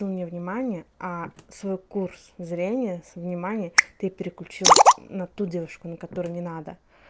невнимание а свой курс зрения с внимания ты переключил на ту девушку на которую не нужно